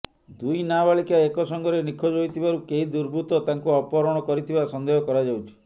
ଦୁଇ ନାବାଳିକା ଏକ ସଙ୍ଗରେ ନିଖୋଜ ହୋଇଥିବାରୁ କେହି ଦୁର୍ବୃତ୍ତ ତାଙ୍କୁ ଅପହରଣ କରିଥିବା ସନ୍ଦେହ କରାଯାଉଛି